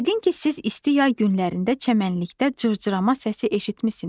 Yəqin ki, siz isti yay günlərində çəmənlikdə cırcırama səsi eşitmisiniz.